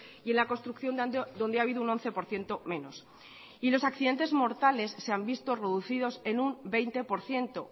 y en la construcción donde ha habido un once por ciento menos y los accidentes mortales se han visto reducidos en un veinte por ciento